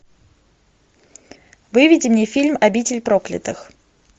выведи мне фильм обитель проклятых